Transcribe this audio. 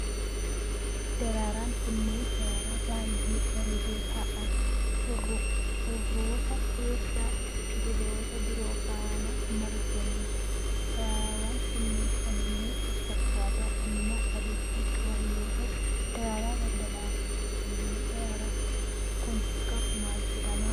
Daraaraan kunneen, daraaraa baay'ee bareedoo ta'an, urufa keessa biqiloota biroo faana marganii dha. Daraaraawwan kunneen haalluu walfakkaataa diimaa adii kan qaban yoo ta'u, daraaraa daldalaati. Haalluun daraaraan kun qabu maal jedhama?